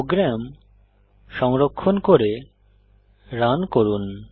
programme সংরক্ষণ করে run করুন